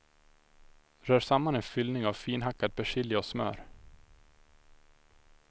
Rör samman en fyllning av finhackad persilja och smör.